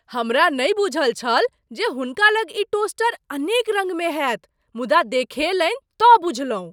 हमरा नहि बुझल छल जे हुनका लग ई टोस्टर अनेक रङ्गमे होयत मुदा, देखेलनि तँ बुझलहुँ।